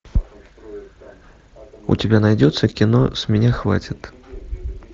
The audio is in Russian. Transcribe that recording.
у тебя найдется кино с меня хватит